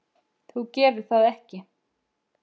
Þú gerir það ekki.